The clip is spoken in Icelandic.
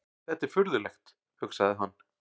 Þetta er furðulegt, hugsaði hann.